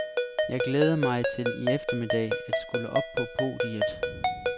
Jeg glæder mig til i eftermiddag at skulle op på podiet.